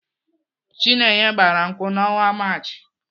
Chinenye gbara nkwụ n'ọnwa Maachị.